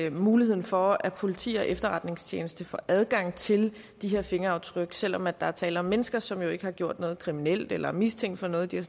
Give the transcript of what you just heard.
af muligheden for at politi og efterretningstjeneste får adgang til de her fingeraftryk selv om der er tale om mennesker som jo ikke har gjort noget kriminelt eller er mistænkt for noget de har